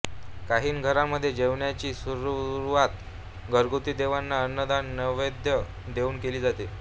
काही घरांमध्ये जेवणाची सुरुवात घरगुती देवांना अन्नदान नैवेद्य देऊन केली जाते